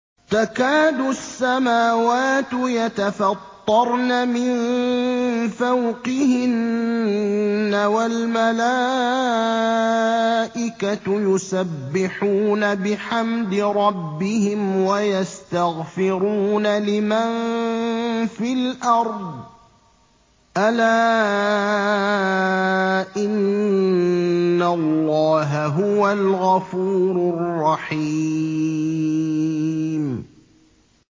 تَكَادُ السَّمَاوَاتُ يَتَفَطَّرْنَ مِن فَوْقِهِنَّ ۚ وَالْمَلَائِكَةُ يُسَبِّحُونَ بِحَمْدِ رَبِّهِمْ وَيَسْتَغْفِرُونَ لِمَن فِي الْأَرْضِ ۗ أَلَا إِنَّ اللَّهَ هُوَ الْغَفُورُ الرَّحِيمُ